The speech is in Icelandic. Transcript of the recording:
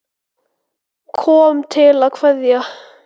Kom til að kveðja.